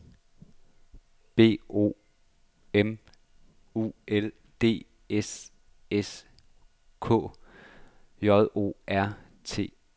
B O M U L D S S K J O R T E N